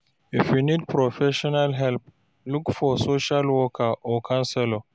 If you need professional help, look for social worker or counselor.